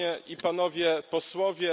Panie i Panowie Posłowie!